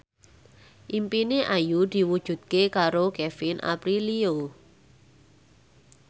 impine Ayu diwujudke karo Kevin Aprilio